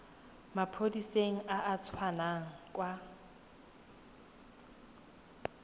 maphodiseng a a tswang kwa